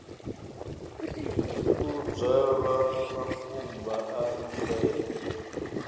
u dzwalwa makumba a mbebo